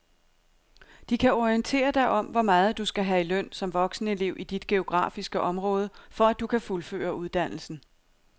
De kan orientere dig om hvor meget du skal have i løn som voksenelev i dit geografiske område, for at du kan fuldføre uddannelsen.